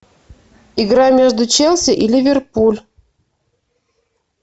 игра между челси и ливерпуль